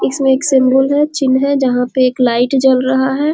इसमें एक सिम्बोल है चिन्ह है जहां पे एक लाइट जल रहा है।